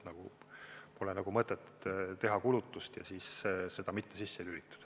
Pole mõtet teha kulutust ja siis automaatikat mitte sisse lülitada.